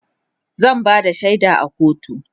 zan Bada shaida a kotu